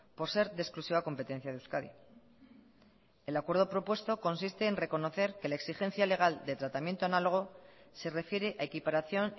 por ser de exclusiva competencia de euskadi el acuerdo propuesto consiste en reconocer que la exigencia legal de tratamiento análogo se refiere a equiparación